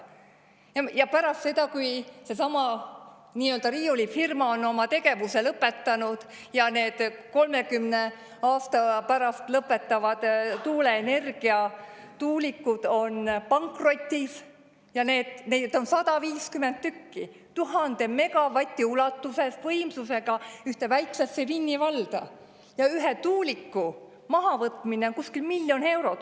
Ja pärast seda, kui seesama nii-öelda riiulifirma on oma tegevuse lõpetanud ja need 30 aasta pärast lõpetavad tuuleenergia tuulikud on pankrotis – neid on 150 tükki 1000 megavati võimsusega ühte väiksesse Vinni valda – ja ühe tuuliku mahavõtmine kuskil miljon eurot?